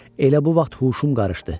Elə bu vaxt huşum qarışdı.